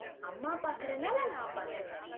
அம்மா பாக்கறனால நான் பாக்குறேன்